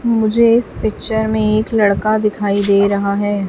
मुझे इस पिक्चर में एक लड़का दिखाई दे रहा हैं।